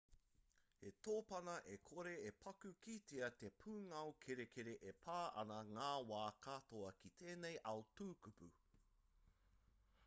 he tōpana e kore e paku kitea te pūngao kerekere e pā ana i ngā wā katoa ki tēnei ao tukupū